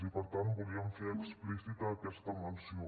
i per tant volíem fer explícita aquesta menció